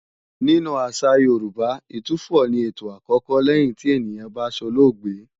Nínú àṣà Yorùbá, Ìtúfọ̀ ni ètò àkọ́kọ́ lẹ́yìn tí ènìyàn bá solóògbé